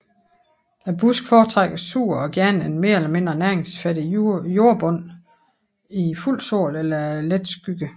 Busken foretrækker sur og gerne en mere eller mindre næringsfattig jordbund i fuld sol eller let skygge